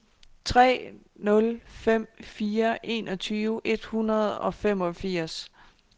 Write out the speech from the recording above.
tre nul fem fire enogtyve et hundrede og femogfirs